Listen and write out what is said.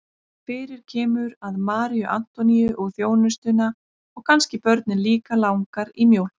Fyrir kemur að Maríu Antoníu og þjónustuna og kannski börnin líka langar í mjólk.